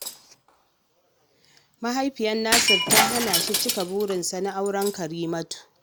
Mahaifiyar Nasir ta hana shi cika burinsa na auren Karimatu